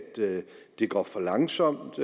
det går for langsomt